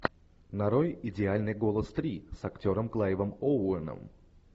нарой идеальный голос три с актером клайвом оуэном